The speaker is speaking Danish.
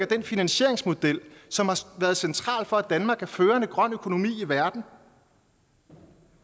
den finansieringsmodel som har været central for at danmark er førende grøn økonomi i verden